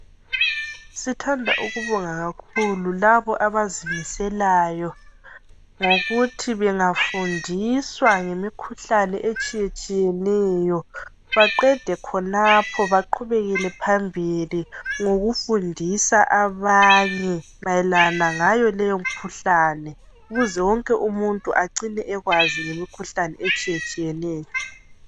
Sithanda ukubonga kakhulu laba abazimiselayo ngokuthi bengafundiswa ngemikhuhlane etshiye tshiyeneyo baqede khonapho baqhubekele phambili ngokufundisa abanye mayelana ngayo leyimkhuhlane ukuze wonke umuntu ecine ekwazi ngemikhuhlane etshiye tshiyeneyo